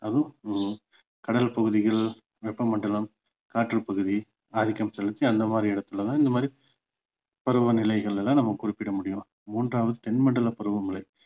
அதுவும் உம் கடல் பகுதிகள் வெப்பமண்டலம் காற்று பகுதி ஆதிக்கம் செலுத்தி அந்த மாதிரி இடத்துல தான் இந்த மாதிரி பருவநிலைகள் எல்லாம் நம்ம குறிப்பட முடியும் மூன்றாவது தென்மண்டல பருவமழை